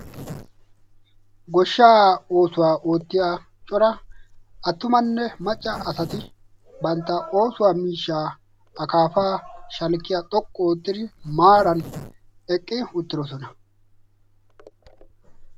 goshshaa oosuwaa oottiya cora attumanne macca asati bantta oosuwaa miishshaa akaafaa shalkkiya xoqqu oottidi maaran eqqi uttidosona